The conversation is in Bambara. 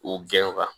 K'u gɛn